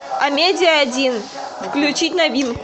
амедия один включить новинку